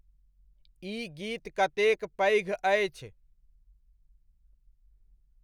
ई गीत कतेक पैघ अछि?